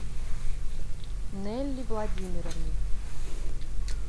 нелли владимировне